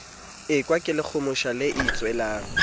ekwa ke lekgomosha le itswelang